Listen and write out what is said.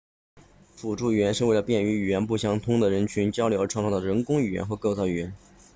辅助语言是为了便于语言不相通的人群交流而创造的人工语言或构造语言